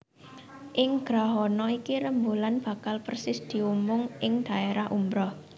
Ing grahana iki rembulan bakal persis dumunung ing dhaérah umbra